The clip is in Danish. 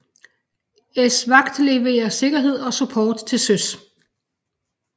ESVAGT leverer sikkerhed og support til søs